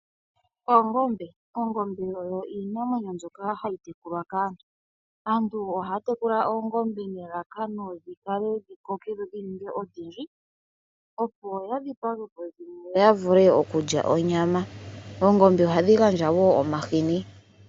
Oongombe. Oongombe oyo iinamwenyo mbyoka hayi tekulwa kaantu. Aantu ohaya tekula oongombe nelalakano dhi vale dhikoke dho dhininge odhindji opo ya dhipagepo dhimwe yo yavule okukya onyama . Oongombe ohadhi gandja woo omahini.